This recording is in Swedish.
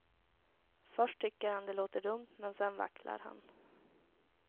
Först tycker han det låter dumt, men sedan vacklar han.